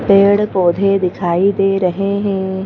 पेड़ पौधे दिखाई दे रहे हैं।